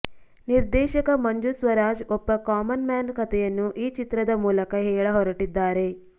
ನಿರ್ದೇಶಕ ಮಂಜು ಸ್ವರಾಜ್ ಒಬ್ಬ common man ಕತೆಯನ್ನು ಈ ಚಿತ್ರದ ಮೂಲಕ ಹೇಳಹೊರಟಿದ್ದಾರೆ